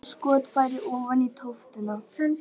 Þaðan var skotfæri ofan í tóftina.